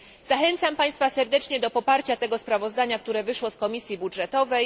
Zachęcam Państwa serdecznie do poparcia tego sprawozdania, które wyszło z Komisji Budżetowej.